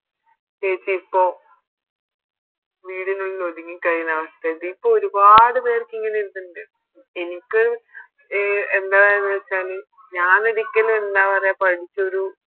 ചേച്ചി ഇപ്പൊ വീടിനുള്ളിൽ ഒതുങ്ങി കഴിയണ്ട അവസ്ഥയ ഇതിപ്പോ ഒരുപാട് പേർക്ക് ഇങ്ങനെ ഒരിതിണ്ട് എനിക്ക് അഹ് എന്താ പറയാന്ന് വെച്ചാൽ ഞാനൊരിക്കലും എന്താ പറയാ പഠിച്ചൊരു